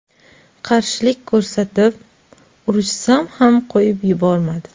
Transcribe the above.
Qarshilik ko‘rsatib, urushsam ham qo‘yib yubormadi.